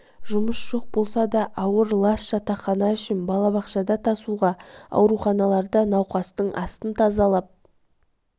жұмыс жоқ болса да ауыр лас жатақхана үшін балабақшада тасуға ауруханаларда науқастың астын тазалап